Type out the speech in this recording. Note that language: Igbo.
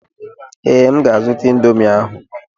Ee, M ga-azụta ịndomii ahụ.